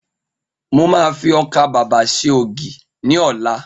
Mo ma fi ọkà babà ṣe ògì ni ọlá